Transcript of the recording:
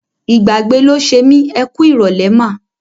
Ìgbàgbé ló ṣe mí. Ẹ kú ìrọ̀lẹ́ mà.